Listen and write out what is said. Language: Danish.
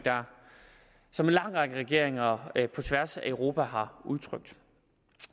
som en lang række regeringer på tværs af europa har udtrykt